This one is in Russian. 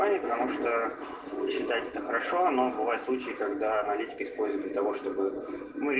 в плане потому что счиать это хорошо но бывают случаи когда аналитику используют дл того чтобы мы